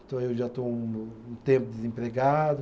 Então eu já estou um um tempo desempregado.